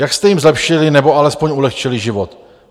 Jak jste jim zlepšili, nebo alespoň ulehčili život?